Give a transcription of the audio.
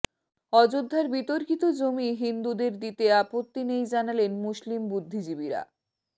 অযােধ্যার বিতর্কিত জমি হিন্দুদের দিতে আপত্তি নেই জানালেন মুসলিম বুদ্ধিজীবীরা